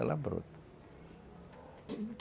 Ela brota.